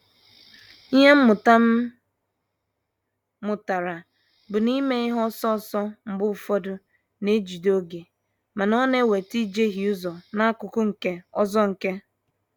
Ịhe mmụta m mụtara bụ na ime ihe ọsọ ọsọ mgbe ụfọdụ ná-ejide oge mana, ọ na-eweta ijehie ụzọ n'akụkụ nke ọzọ nke.